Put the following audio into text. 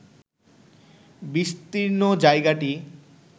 বিস্তীর্ণ জায়গাটি